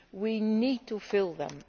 We need to fill them.